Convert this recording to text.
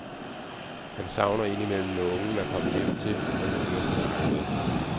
Han savner ind imellem nogen at komme hjem til og nogen at snakke med.